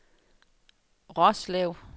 Roslev